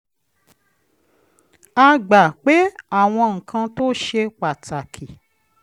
a gbà pé àwọn nǹkan tó ṣe pàtàkì